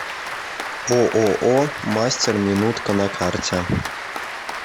ооо мастер минутка на карте